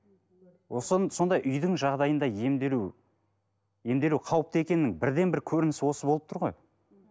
сондай үйдің жағдайында емделу емделу қауіпті екенінің бірден бір көрінісі осы болып тұр ғой